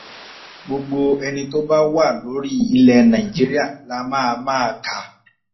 gbogbo ẹni tó bá wà lórí ilẹ̀ nàìjíríà la máa máa kà